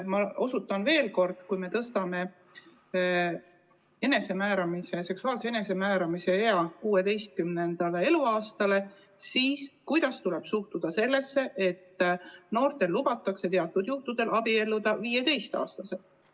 Ma küsin veel kord, et kui me tõstame seksuaalse enesemääramise eapiiri 16. eluaastani, siis kuidas tuleks suhtuda sellesse, et teatud juhtudel lubatakse noortel 15-aastaselt abielluda.